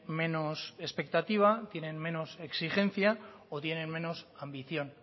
menos expectativa tiene menos exigencia o tienen menos ambición